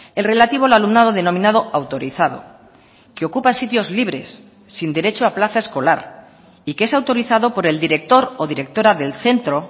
el relativo al alumnado denominado autorizado que ocupa sitios libres sin derecho a plaza escolar y que es autorizado por el director o directora del centro